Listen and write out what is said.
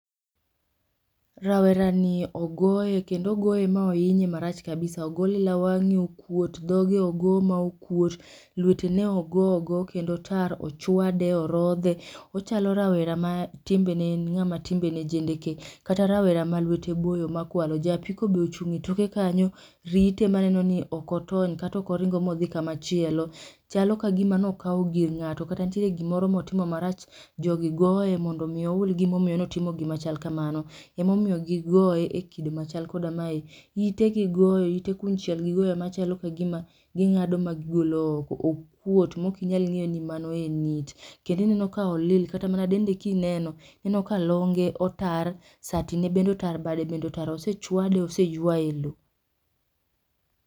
Rawera ni ogoye kendo ogoye ma oinyore marach kabisa, ogole wang'e okwot, dhoge ogo ma okwot, lwete ne ogo, ogo kendo otar ,ochwade ,orodhe, ochalo rawere ma timbene en ng'a ma timbe ne jendeke kata rawera ma lwete boyo ma kwalo, ja apiko be ochung' e toke kanyo rite ma neno ni ok otony kata ok oringo ma odhi ka ma chielo. Chalo ki gi ma ne okawo gir ng'ato kata nitiere gi moro ma otimo marach. Jo gi goye mondo mi oul gi ma omiyo ne otimo gi ma kamano ema omiyo gi goye e kind ma chal koda kamae. ite gi goyo ,ite konchiel gi goyo ma chal ka gi ma gi ng'ado ma gi golo oko, okwot mo ok inyal ng'eyo ni mano en it kendo ineno ka olil kata mana dende ki ineno ineno ka longe otar, sati ne bende otar, osechwade bende oseywaye e loo.